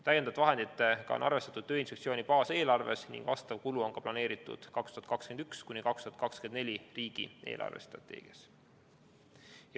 Täiendavate vahenditega on arvestatud Tööinspektsiooni baaseelarves ning vastav kulu on planeeritud 2021–2024 riigi eelarvestrateegias.